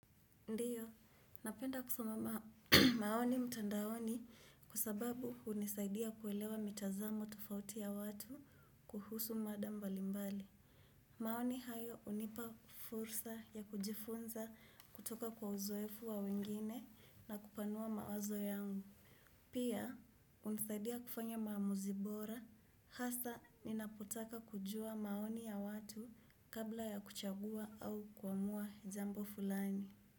Ndio, napenda kusoma maoni mtandaoni kwa sababu hunisaidia kuelewa mitazamo tofauti ya watu kuhusu mada mbalimbali. Maoni hayo hunipa fursa ya kujifunza kutoka kwa uzoefu wa wengine na kupanua mawazo yangu. Pia, hunisaidia kufanya maamuzi bora, hasa ninapotaka kujua maoni ya watu kabla ya kuchagua au kuamua jambo fulani.